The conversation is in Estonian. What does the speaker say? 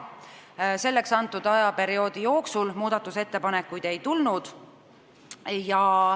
Selleks antud ajaperioodi jooksul muudatusettepanekuid ei tulnud.